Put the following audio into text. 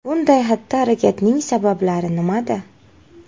Bunday xatti-harakatning sabablari nimada?